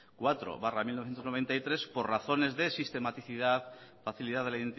cuatro barra mil novecientos noventa y tres por razones de sistematicidad facilidad de la